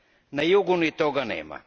Na jugu ni toga nema.